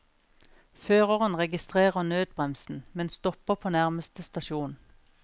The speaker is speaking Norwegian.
Føreren registrerer nødbremsen, men stopper på nærmeste stasjon.